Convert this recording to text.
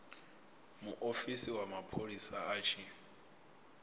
muofisi wa mapholisa a tshi